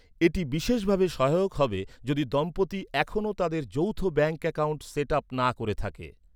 এটি বিশেষভাবে সহায়ক হবে যদি দম্পতি এখনও তাদের যৌথ ব্যাঙ্ক অ্যাকাউন্ট সেট আপ না করে থাকে।